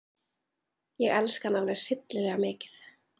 Ég elska hann alveg hryllilega mikið.